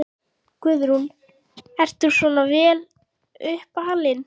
Guðrún: Ert þú svona vel upp alinn?